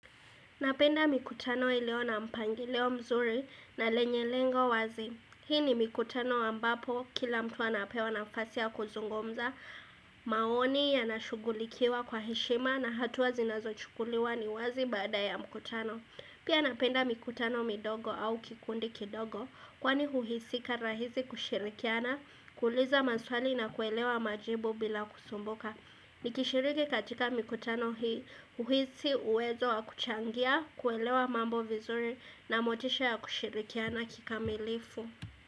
Napenda mikutano iliyo na mpangilio mzuri na yenye lengo wazi. Hii ni mikutano ambapo kila mtu anapewa nafasi ya kuzungumza maoni yanashughulikiwa kwa heshima na hatua zinazo chukuliwa ni wazi bada ya mkutano. Pia napenda mikutano midogo au kikundi kidogo kwani uhusika rahisi kushirikiana kuuliza maswali na kuelewa majibu bila kusumbuka. Nikishiriki katika mikutano hii, uhisi uwezo wa kuchangia, kuelewa mambo vizuri na motisha ya kushirikiana kikamilifu.